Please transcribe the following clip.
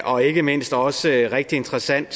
og ikke mindst også rigtig interessant